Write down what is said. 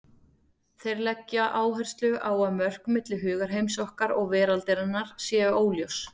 Þeir leggja áherslu á að mörk milli hugarheims okkar og veraldarinnar séu óljós.